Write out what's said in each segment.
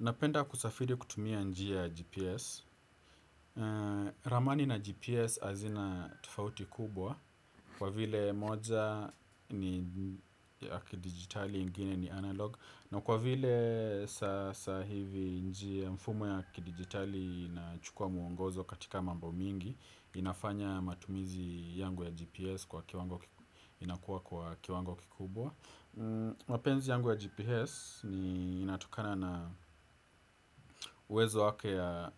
Napenda kusafiri kutumia njia ya GPS. Ramani na GPS hazina tofauti kubwa kwa vile moja ni ya kidigitali ingine ni analog na kwa vile sasa hivi njia mfumo ya kidigitali inachukua mwongozo katika mambo mingi inafanya matumizi yangu ya GPS inakuwa kwa kiwango kikubwa. Mapenzi yangu ya GPS ni inatokana na uwezo wake wa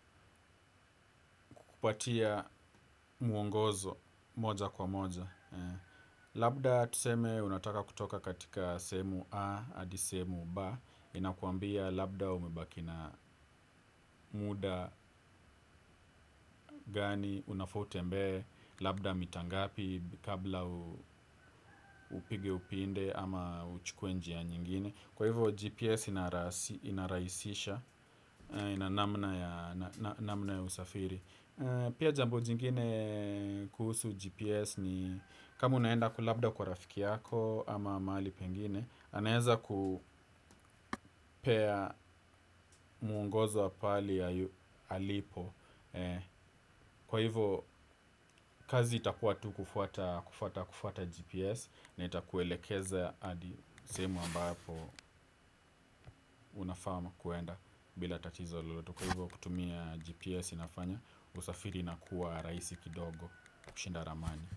kukupatia mwongozo moja kwa moja labda tuseme unataka kutoka katika sehemu A hadi sehemu B. Inakuambia labda umebaki na muda gani unafaa utembee. Labda mita ngapi kabla upige upinde ama uchukue njia nyingine. Kwa hivyo GPS inarahisisha na namna ya usafiri. Pia jambo jingine kuhusu GPS ni kama unaenda ku labda kwa rafiki yako ama mahali pengine. Anaeza kupea mwongozo wa pahali alipo. Kwa hivyo kazi itakuwa tu kufuata GPS. Na itakuelekeza hadi sehemu ambapo unafaa ama kuenda bila tatizo lolote. Kwa hivyo kutumia GPS inafanya usafiri inakuwa rahisi kidogo kushinda ramani.